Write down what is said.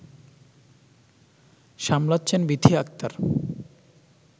সামলাচ্ছেন Bithi Akter